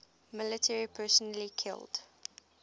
military personnel killed